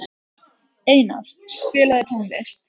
Einar, spilaðu tónlist.